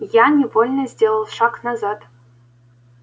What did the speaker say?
я невольно сделал шаг назад